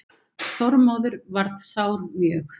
Þormóður varð sár mjög.